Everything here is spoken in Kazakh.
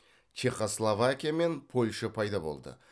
чехословакия мен польша пайда болды